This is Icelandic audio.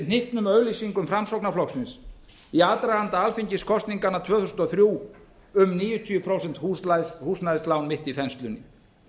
hnyttnum auglýsingum framsóknarflokksins í aðdraganda alþingiskosninganna tvö þúsund og þrjú um níutíu prósent húsnæðislán mitt í þenslunni